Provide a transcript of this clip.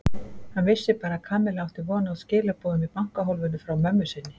Hann vissi bara að Kamilla átti von á skilaboðum í bankahólfinu frá mömmu sinni.